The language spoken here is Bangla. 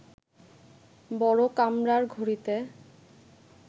বড় কামরার ঘড়িতে